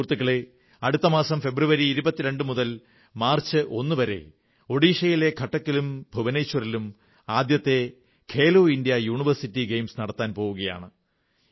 സുഹൃത്തുക്കളേ അടുത്ത മാസം ഫെബ്രുവരി 22 മുതൽ മാർച്ച് 1 വരെ ഒഡിഷയിലെ കട്ടക്കിലും ഭുവനേശ്വറിലും ആദ്യത്തെ ഖേലോ ഇന്ത്യാ യൂണിവേഴ്സിറ്റി ഗെയിംസ് നടത്താൻ പോകുകയാണ്